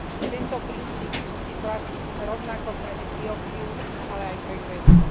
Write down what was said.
Tento princíp musí platiť rovnako pre Etiópiu, ale aj pre Grécko.